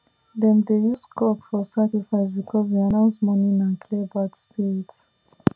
dem dey use cock for sacrifice because e announce morning and clear bad spirit